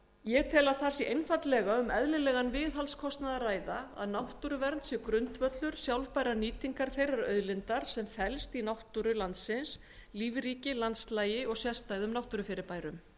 ég tel að þar sé einfaldlega um eðlilegan viðhaldskostnað að ræða að náttúruvernd sé grundvöllur sjálfbærrar nýtingar þeirrar auðlindar sem felst í fegurð landsins lífríki og sérstæðum náttúrufyrirbærum